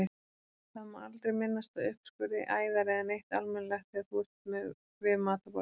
Það má aldrei minnast á uppskurði, æðar eða neitt almennilegt þegar þú ert við matarborðið.